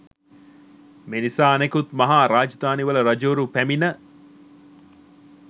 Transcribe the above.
මේ නිසා අනෙකුත් මහා රාජධානිවල රජවරු පැමිණ